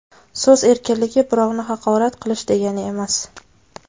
So‘z erkinligi birovni haqorat qilish degani emas.